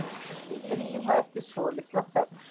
sagði Drífa eftir svolitla þögn.